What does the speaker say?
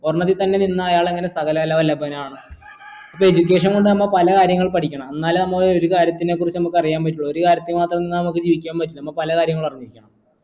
ഒരെണ്ണത്തിൽ തന്നെ നിന്ന് അയാൾ എങ്ങനെ സകലകല വല്ലഭൻ ആവണെ ഇപ്പൊ education കൊണ്ട് നമ്മ പല കാര്യങ്ങൾ പഠിക്കണം എന്നാലേ നമ്മള് ഒരു കാര്യത്തിനെ കുറിച്ച് നമുക്കറിയാൻ പറ്റും ഒരു കാര്യത്തിൽ മാത്രം നിന്ന നമുക്ക് ജീവിക്കാൻ പറ്റില്ല നമ്മള് പല കാര്യങ്ങളും അറിഞ്ഞിരിക്കണം